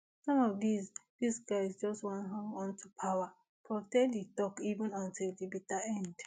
some of these these guys just wan hang onto power prof ten di tok even until di bitter end